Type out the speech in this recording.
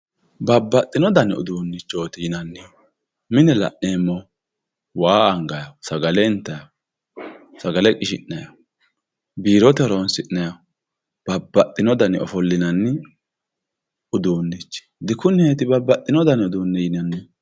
babbaxino dani uduunnichooti yineemmohu mine la'neemmohu waa angannihu sagale intannihu sagale qishi'nanniho biirote horonsi'nanihu babbaxino dani ofollinanni uduunnichi dikuneeti babbaxino dani uduunne yinannihu.